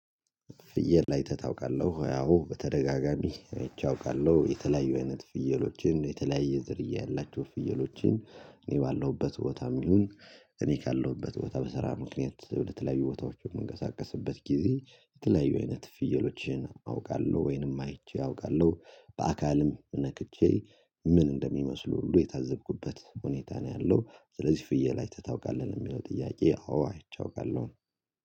ፍየል ላይ ታውቃለሁ ያው በተደጋጋሚ እይቼ አውቃለሁ የተለያዩ አይነት ፍየሎችን የተለያየ ዝርያ ያላቸው ፍየሎችን እኔ ባለሁበት ቦታም ይሁን እኔ ካለሁበት ቦታ በሰራ ምክንያት ለተለያዩ ቦታዎች የምንቀሳቀስበት ጊዜ የተለያዩ አይነት ፍየሎችን አውቃለሁ ወይንም አይቼ አውቃለሁ በአካልም ነክቼ ምን እንደሚመስሉ ሁሉ የታዘብኩበት ሁኔታ ነው ያለው። ስለዚህ ፍየል አይተህ ታውቃለህ የሚለው ጥያቄ አዎ አይቼ አውቃለሁ።